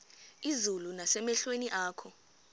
izulu nasemehlweni akho